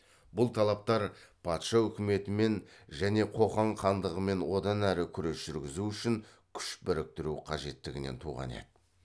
бұл талаптар патша үкіметімен және қоқан хандығымен одан әрі күрес жүргізу үшін күш біріктіру қажеттігінен туған еді